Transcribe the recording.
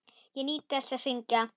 Ég nýt þess að syngja.